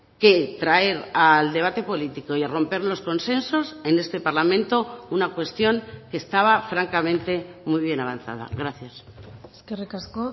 que traer al debate político y a romper los consensos en este parlamento una cuestión que estaba francamente muy bien avanzada gracias eskerrik asko